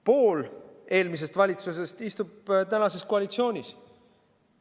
Pool eelmisest valitsusest istub praeguses koalitsioonis.